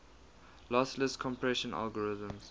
lossless compression algorithms